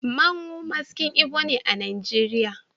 Mmanwu Maskin Igbo ne a Najeriya